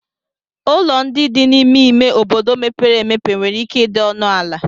Ụlọ ndị dị n'ime ime obodo mepere emepe nwere ike ịdị ọnụ ala